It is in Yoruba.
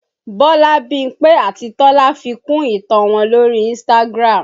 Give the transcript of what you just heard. Bọlá, Bímpé àti Tọ́lá fi kún ìtàn wọn lórí Instagram